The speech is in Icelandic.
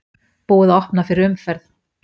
Búið að opna fyrir umferð